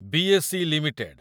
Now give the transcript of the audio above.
BSE. Limited